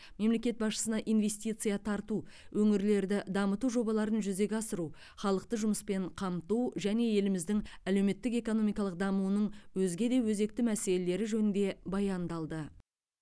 мемлекет басшысына инвестиция тарту өңірлерді дамыту жобаларын жүзеге асыру халықты жұмыспен қамту және еліміздің әлеуметтік экономикалық дамуының өзге де өзекті мәселелері жөнінде баяндалды